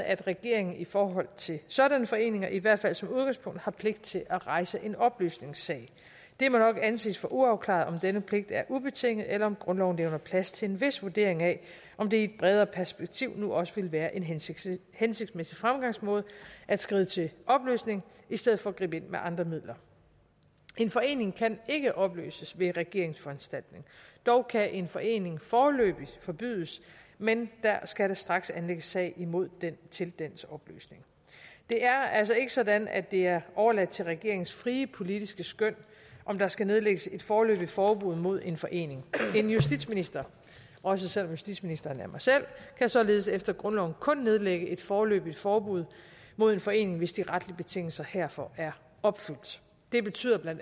at regeringen i forhold til sådanne foreninger i hvert fald som udgangspunkt har pligt til at rejse en opløsningssag det må nok anses for uafklaret om denne pligt er ubetinget eller om grundloven levner plads til en vis vurdering af om det i et bredere perspektiv nu også ville være en hensigtsmæssig hensigtsmæssig fremgangsmåde at skride til opløsning i stedet for at gribe ind med andre midler en forening kan ikke opløses ved en regeringsforanstaltning dog kan en forening foreløbig forbydes men der skal da straks anlægges sag imod den til dens opløsning det er altså ikke sådan at det er overladt til regeringens frie politiske skøn om der skal nedlægges et foreløbigt forbud mod en forening en justitsminister også selv om justitsministeren er mig selv kan således efter grundloven kun nedlægge et foreløbigt forbud mod en forening hvis de retlige betingelser herfor er opfyldt det betyder bla